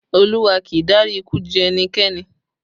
Olúwa kì í dárí ikú ji ẹnikẹ́ni